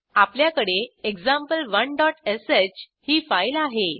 आपल्याकडे example1श ही फाईल आहे